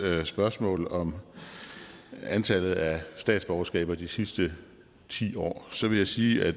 spørgsmål om antallet af statsborgerskaber i de sidste ti år så vil jeg sige at